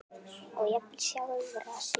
og jafnvel sjálfra sín.